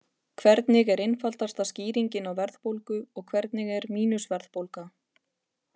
Hvernig er einfaldasta skýringin á verðbólgu og hvernig er mínus-verðbólga?